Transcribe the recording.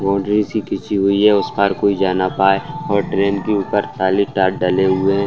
boundary सी खींची हुई है | उस पार कोई जा ना पाए और ड्रेन के ऊपर खाली तार डले हुए --